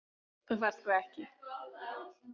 Þú færð sko ekki.